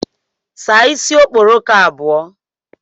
Saa isi okporoko abụọ